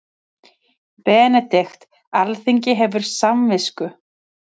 BENEDIKT: Alþingi hefur samvisku.